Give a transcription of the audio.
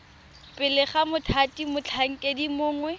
pele ga mothati motlhankedi mongwe